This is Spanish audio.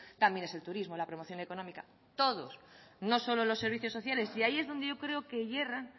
también es el turismo la promoción económica todos no solo los servicios sociales y ahí es donde creo que hierran